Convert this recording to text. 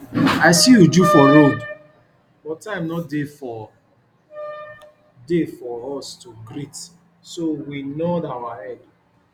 i see uju for road but time no dey for dey for us to greet so we nod our head